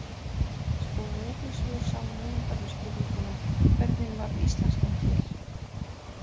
Skoðið einnig svör sama höfundar við spurningunum: Hvernig varð íslenskan til?